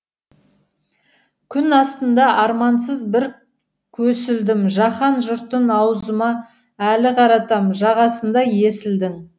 күн астында армансыз бір көсілдім жаһан жұртын аузыма әлі қаратам жағасында есілдің